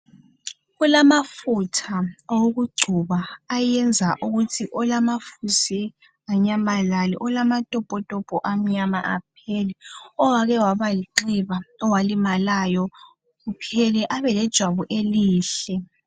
Kulamafutha okugcoba ayenza ukuthi olamafusi anyamalale, olamatopotopo amnyama aphele, owake waba lenxeba, owalimalayo kuphele abe lejwabu elihle.